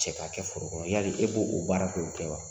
Cɛ k'a kɛ foro kɔnɔ yali e b'o o baara k'o kɛ wa